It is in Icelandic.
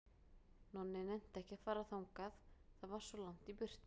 Nonni nennti ekki að fara þangað, það var svo langt í burtu.